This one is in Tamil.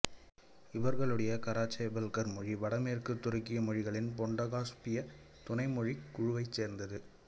இவர்களுடைய கராச்சேபல்கர் மொழி வடமேற்குத் துருக்கிய மொழிகளின் பொண்டோகாஸ்பிய துணை மொழிக் குழுவைச் சேர்ந்தது